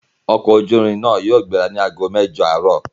Ọkọ ojú irin yóò gbéra ni àgó mẹ́jọ̀ àárọ̀